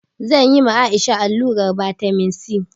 Zan ma Aisha allurar vitamin E